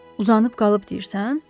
Uzanıb qalıb, deyirsən?